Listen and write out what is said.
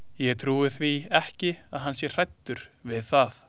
Ég trúi því ekki að hann sé hræddur við það.